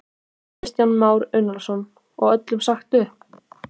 Kristján Már Unnarsson: Og öllum sagt upp?